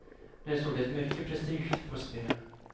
Nu står det mycket prestige på spel.